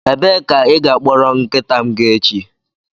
Ebee ka ị ga-akpọrọ nkịta m ga echi?